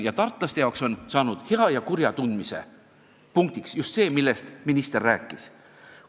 Tartlaste jaoks on saanud hea ja kurja tundmise punktiks just see, millest minister rääkis.